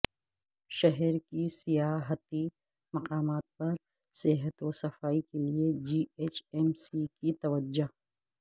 شہر کے سیاحتی مقامات پر صحت و صفائی کیلئے جی ایچ ایم سی کی توجہ